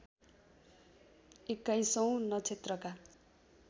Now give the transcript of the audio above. एक्काईसौँ नक्षत्रका